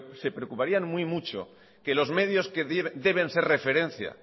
se preocuparían muy mucho que los medios que deben de ser referencia